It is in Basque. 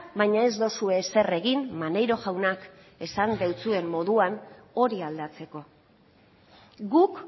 baina ez dozue ezer egin maneiro jaunak esan deutsuen moduan hori aldatzeko guk